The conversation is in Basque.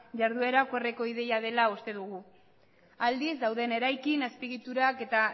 jarduera okerreko ideia dela uste dugu aldiz dauden eraikin azpiegiturak eta